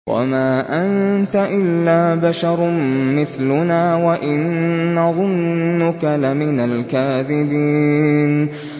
وَمَا أَنتَ إِلَّا بَشَرٌ مِّثْلُنَا وَإِن نَّظُنُّكَ لَمِنَ الْكَاذِبِينَ